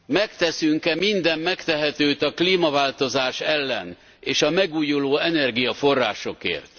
Megteszünk e minden megtehetőt a klímaváltozás ellen és a megújuló energiaforrásokért?